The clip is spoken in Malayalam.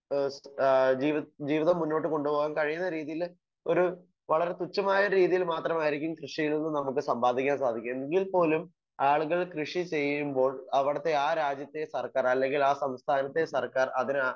സ്പീക്കർ 1 ഏഹ് ജീവിത ജീവിതം മുന്നോട്ടു കൊണ്ട് പോകാൻ കഴിയുന്ന രീതിയില് ഒരു വളരെ തുച്ഛമായ രീതിയിൽ മാത്രമായിരിക്കും കൃഷിയിൽ നിന്ന് നമുക്ക് സമ്പാദിക്കാൻ സാധിക്കുന്നത്. എങ്കിൽ പോലും ആളുകൾ കൃഷി ചെയ്യുമ്പോൾ അവിടുത്തെ ആഹ് രാജ്യത്തെ സർക്കാർ അല്ലെങ്കിൽ ആ സംസ്ഥാനത്തെ സർക്കാർ അതിന്